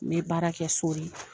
N be baara kɛ so de.